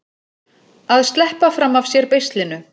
Að sleppa fram af sér beislinu